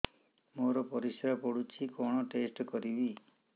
ମୋର ପରିସ୍ରା ପୋଡୁଛି କଣ ଟେଷ୍ଟ କରିବି